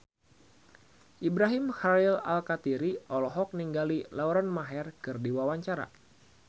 Ibrahim Khalil Alkatiri olohok ningali Lauren Maher keur diwawancara